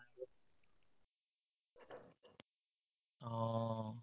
অ